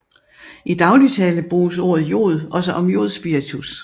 I daglig tale bruges ordet jod også om jodspiritus